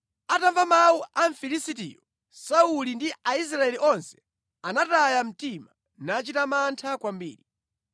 Atamva mawu a Mfilisitiyo, Sauli ndi Aisraeli onse anataya mtima nachita mantha kwambiri.